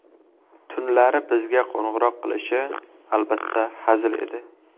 Tunlari bizga qo‘ng‘iroq qilishi, albatta, hazil edi.